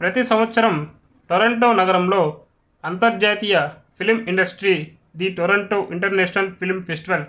ప్రతి సంవత్సరం టొరంటో నగరంలో అంతర్జాతీయ film industry the Toronto International Film festival